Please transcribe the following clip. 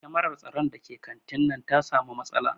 Kyamarar tsaron da ke kantin nan ta samu matsala